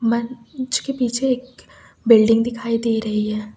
पीछे एक बिल्डिंग दिखाई दे रही है।